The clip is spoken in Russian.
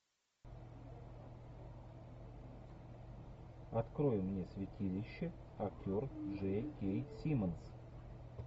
открой мне святилище актер джей кей симмонс